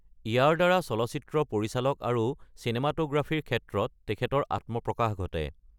ইয়াৰ দ্বাৰা চলচ্চিত্ৰ পৰিচালক আৰু চিনেমাটোগ্ৰাফীৰ ক্ষেত্ৰত তেখেতৰ আত্মপ্ৰকাশ ঘটে।